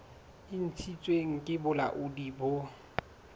e ntshitsweng ke bolaodi bo